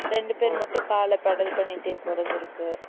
ரெண்டு பேரு மட்டும் காலு pedal பண்ணிட்டே போறது இருக்கு